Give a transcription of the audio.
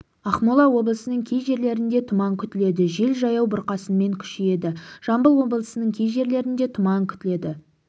ақмола облысының кей жерлерінде тұман күтіледі жел жаяу бұрқасынмен күшейеді жамбыл облысының кей жерлерінде тұман күтіледі